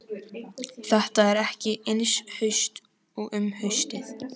Þetta er ekki eins haust og um haustið.